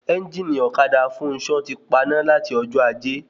Ẹ́ngìnì ọ̀kadà Fúnṣọ̀ ti paná lati ọjọ́ ajé